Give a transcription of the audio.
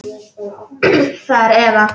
Það er Eva.